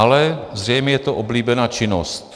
Ale zřejmě je to oblíbená činnost.